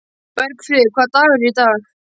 Bergfríður, hvaða dagur er í dag?